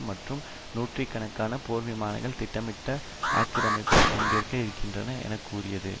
மற்றும் நூற்று கணக்கான போர்விமானங்கள் திட்டமிட்ட ஆக்கிரமிப்பில் பங்கேற்க இருக்கின்றன என கூறியது